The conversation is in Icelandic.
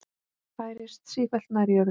Færist sífellt nær jörðu.